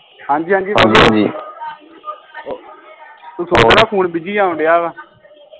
ਹਾਂਜੀ ਹਾਂਜੀ ਉਹ ਦਾ ਫੋਨ busy ਆਉਣ ਢਆ ਵਾ